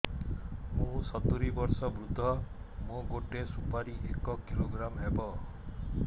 ମୁଁ ସତୂରୀ ବର୍ଷ ବୃଦ୍ଧ ମୋ ଗୋଟେ ସୁପାରି ଏକ କିଲୋଗ୍ରାମ ହେବ